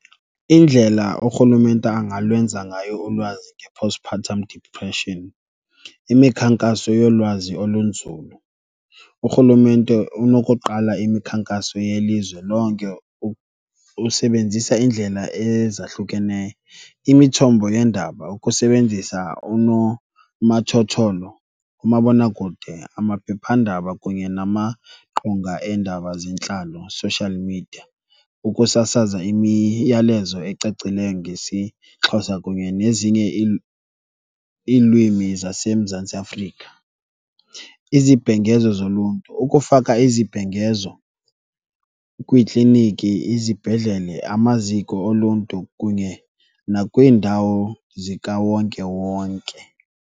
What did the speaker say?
Indlela urhulumente angalwenza ngayo ulwazi nge-postpartum depression. Imikhankaso yolwazi olunzulu, urhulumente unokuqala imikhankaso yelizwe lonke usebenzisa iindlela ezahlukeneyo, imithombo yeendaba, ukusebenzisa unomathotholo, umabonakude, amaphephandaba kunye namaqonga eendaba zentlalo, social media, ukusasaza imiyalezo ecacileyo ngesiXhosa kunye nezinye iilwimi zaseMzantsi Afrika. Izibhengezo zoluntu, ukufaka izibhengezo kwiikliniki, izibhedlele, amaziko oluntu kunye nakwiindawo zikawonkewonke.